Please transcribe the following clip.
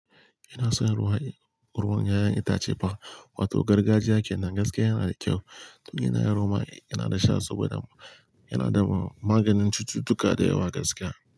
Ina son ruwan ruwan 'ya'yan itace fa, wato gargajiya kenan gaskiya yana da kyau. Tun yana yaro ma yana da sha saboda yana da maganin cututtuka da yawa gaskiya.